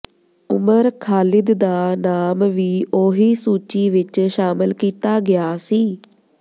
ਉਮਰ ਖਾਲਿਦ ਦਾ ਨਾਮ ਵੀ ਉਹੀ ਸੂਚੀ ਵਿਚ ਸ਼ਾਮਲ ਕੀਤਾ ਗਿਆ ਸੀ